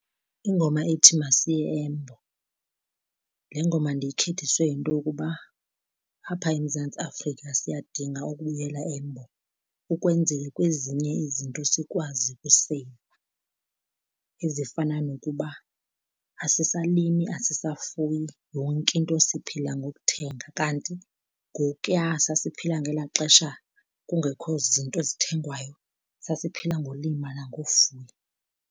Ingoma ethi Masiye Embo. Le ngoma ndiyikhethiswe yinto yokuba apha eMzantsi Afrika siyadinga ukubuyela embo ukwenzele kwezinye izinto sikwazi ukuseyiva, ezifana nokuba asisalimi asisafuyi, yonke into siphila ngokuthenga, kanti ngokuya sasiphila ngelaa xesha kungekho zinto zithengwayo sasiphila ngolima nangofuya.